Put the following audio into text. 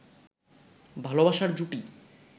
ভালবাসার জুটি